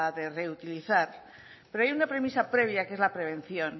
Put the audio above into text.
de reutilizar pero hay una premisa previa que es la prevención